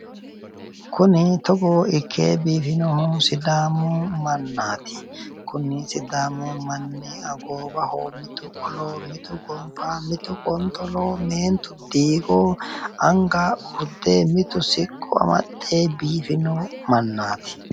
Kuni togo ikke biifinohu sidaamu mannaati kuni sidaamu manni goowaho mitu qolo mitu gonfa mitu qonxolo meentu diigo anga urde mitu siqqo amaxxe biifino mannaati.